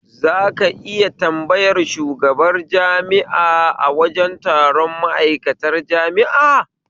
Zaka iya tambayar shigaban jami'a a wajen taron ma'aikatan jami'a?